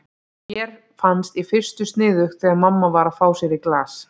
Mér fannst í fyrstu sniðugt þegar mamma var að fá sér í glas.